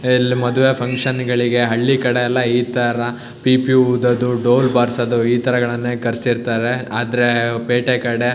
ಇಲ್ ಮದುವೆ ಫಕ್ಷನ್ ಗಳಿಗೆ ಹಳ್ಳಿಕಡೆ ಎಲ್ಲಾ ಇತರ್ರ ಪಿಪಿ ಉದೋದು ಡೋಲ್ ಬಾರಸೋದು ಇತರಗಳನ್ನೆ ಕರಸಿರಿತ್ತಾರೆ ಆದ್ರೇ ಪೇಟೆ ಕಡೆ --